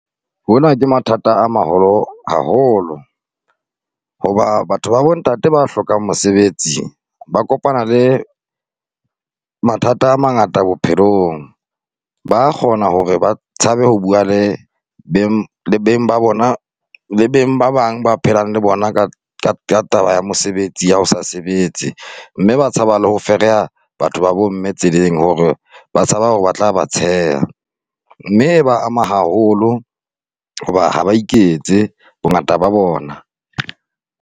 Hona ke mathata a maholo haholo hoba batho ba bontate ba hlokang mosebetsi, ba kopana le mathata a mangata bophelong, ba a kgona hore ba tshabe ho bua le beng ba bona, le beng ba bang ba phelang le bona ka taba ya mosebetsi ya ho sa sebetse mme ba tshaba le ho fereha batho ba bomme tseleng hore ba tshaba hore ba tla ba tsheha. Mme e ba ama haholo hoba ha ba iketse bongata ba bona.